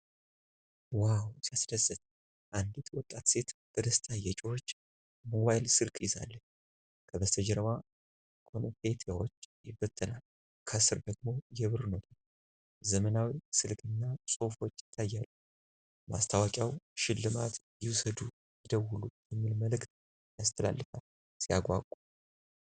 ዋው ሲያስደስት! አንዲት ወጣት ሴት በደስታ እየጮኸች ሞባይል ስልክ ይዛለች። ከበስተጀርባ ኮንፌቲዎች ይበተናሉ። ከስር ደግሞ የብር ኖቶች፣ ዘመናዊ ስልክና ጽሑፎች ይታያሉ። ማስታወቂያው "! ሽልማት ይውሰዱ! ይደውሉ!" የሚል መልዕክት ያስተላልፋል። ሲያጓጓ!